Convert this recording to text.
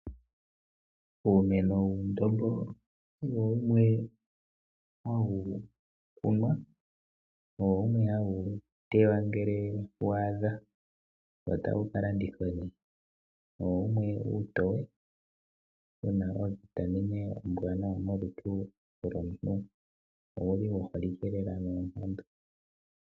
Uumeno wuundombo owo wumwe hawu kunwa, wo owo wumwe hawu tewa ngele waadha wo tawu kalandithwa nee, owo wumwe uutoye wuna o vitamin ombwaanawa molutu lomuntu owuli wuholike lelalela kaantu.